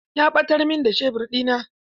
Ya ɓatar min da shebur ɗina.